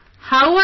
How are you